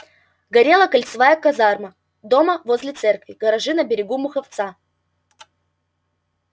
горела кольцевая казарма дома возле церкви гаражи на берегу муховца